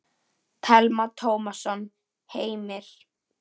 Telma Tómasson: Heimir?